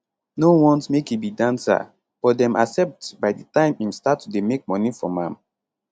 no want make e be dancer but dem accept by di time im start to dey make money from am